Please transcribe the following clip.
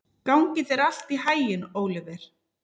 Gangi þér allt í haginn, Óliver.